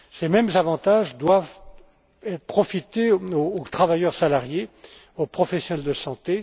Ces mêmes avantages doivent profiter aux travailleurs salariés, aux professionnels de santé.